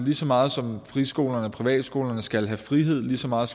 lige så meget som friskolerne privatskolerne skal have frihed lige så meget